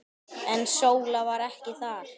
En Sóla var ekki þar.